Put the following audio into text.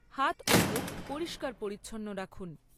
হাত ও মুখ পরিষ্কার পরিচ্ছন্ন রাখুন।